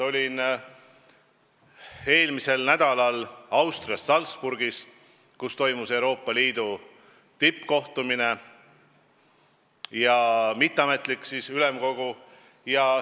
Olin eelmisel nädalal Austrias Salzburgis, kus toimus Euroopa Liidu tippkohtumine ja mitteametlik Euroopa Ülemkogu istung.